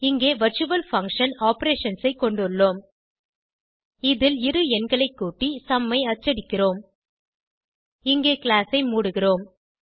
இங்கே virtual function operations ஐ கொண்டுள்ளோம் இதில் இரு எண்களை கூட்டி சும் ஐ அச்சடிக்கிறோம் இங்கே கிளாஸ் ஐ மூடுகிறோம்